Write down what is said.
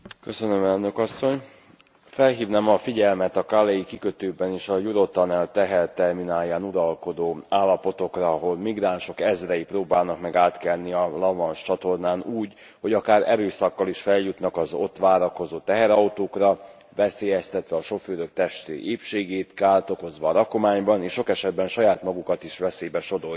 Elnök Asszony, felhívnám a figyelmet a calais i kikötőben és a Eurotunnel teherterminálján uralkodó állapotokra, ahol migránsok ezrei próbálnak meg átkelni a La Manche csatornán úgy, hogy akár erőszakkal is feljutnak az ott várakozó teherautókra, veszélyeztetve a sofőrök testi épségét, kárt okozva a rakományban, és sok esetben saját magukat is veszélybe sodorják.